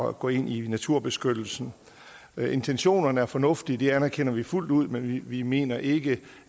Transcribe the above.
at gå ind i naturbeskyttelse intentionerne er fornuftige det anerkender vi fuldt ud men vi mener ikke